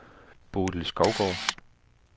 Bodil Skovgaard